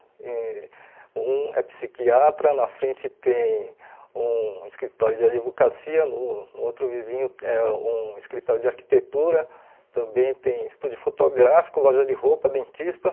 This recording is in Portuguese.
E um é psiquiatra, na frente tem um escritório de advocacia, no no outro vizinho é um escritório de arquitetura, também tem estúdio fotográfico, loja de roupa, dentista.